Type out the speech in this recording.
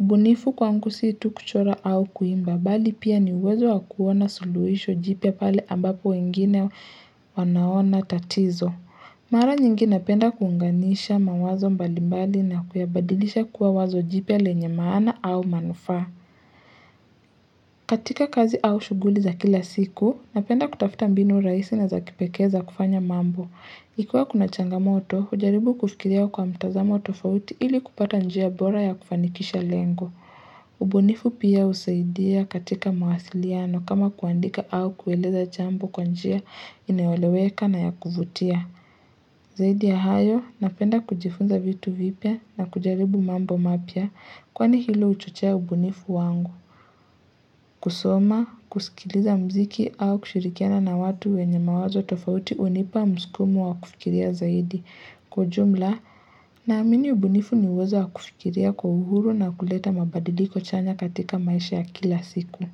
Ubunifu kwangu sii tu kuchora au kuimba bali pia ni uwezo wakuona suluhisho jipya pale ambapo wengine wanaona tatizo. Mara nyingi napenda kuunganisha mawazo mbalimbali na kuyabadilisha kuwa wazo jipya yenye maana au manufaa. Katika kazi au shuguli za kila siku, napenda kutafuta mbinu rahisi na za kipekee za kufanya mambo. Ikiwaa kuna changamoto hujaribu kufikiria kwa mtazamo tofauti ili kupata njia bora ya kufanikisha lengo. Ubunifu pia husaidia katika mawasiliano kama kuandika au kueleza jambo kwa njia inayoeleweka na ya kuvutia. Zaidi ya hayo, napenda kujifunza vitu vipya na kujaribu mambo mapya, kwani hilo huchochea ubunifu wangu. Kusoma kusikiliza mziki au kushirikiana na watu wenye mawazo tofauti hunipa msukumo wa kufikiria zaidi kwa ujumla naamini ubunifu ni uwezo wa kufikiria kwa uhuru na kuleta mabadiliko chanya katika maisha ya kila siku.